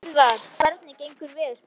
Eðvarð, hvernig er veðurspáin?